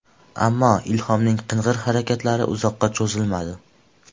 Ammo, Ilhomning qing‘ir harakatlari uzoqqa cho‘zilmadi.